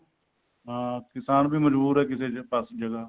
ਨਾ ਕਿਸਾਨ ਵੀ ਮਜਬੂਰ ਹੈ ਕਿਸੇ ਪਾਸੇ ਜਗ੍ਹਾ